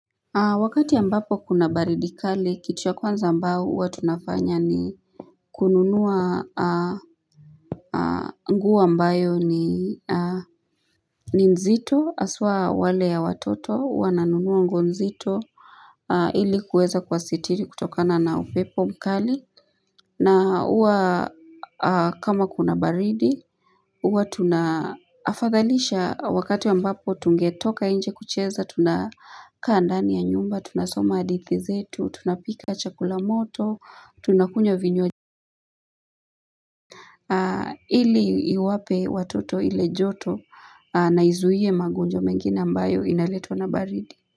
Wakati ambapo kuna baridi kali, kitu ya kwanza ambao huwa tunafanya ni kununua nguo ambayo ni nzito, haswa wale ya watoto wananunua nguo nzito ili kuweza kuwasitiri kutokana na upepo mkali. Na huwa kama kuna baridi, huwa tuna afadhalisha wakati ambapo tungetoka nje kucheza tuna kaa ndani ya nyumba tunasoma hadithi zetu, tunapika chakula moto, tunakunywa vinywa. Ili iwape watoto ile joto na izuie magonjwa mengine ambayo inaletwa na baridi.